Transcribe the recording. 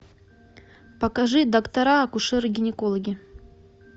покажи доктора акушеры гинекологи